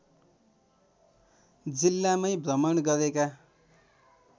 जिल्लामै भ्रमण गरेका